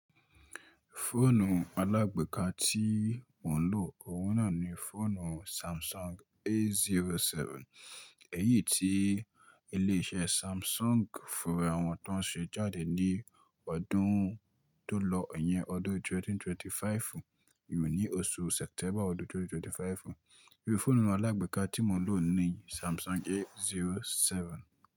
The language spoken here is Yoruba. Fóònù alágbèéká tí mò ń lò, òwú naa náà ni fóònù Samsung A zero seven. Èyí tí ilé iṣẹ́ Samsung fòwo ara wọn tó ń ṣe jáde ní ọdún tó lọ, iyẹn ọdún 2025. Èyí oṣù September ọdún 2025. Fóònù alágbèéká tí mò ń lò ni Samsung A zero seven.